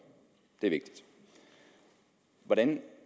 er vigtigt hvordan